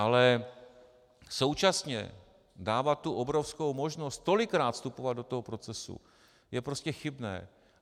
Ale současně dávat tu obrovskou možnost tolikrát vstupovat do toho procesu je prostě chybné.